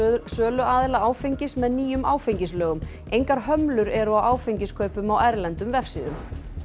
söluaðila áfengis með nýjum áfengislögum engar hömlur eru á áfengiskaupum á erlendum vefsíðum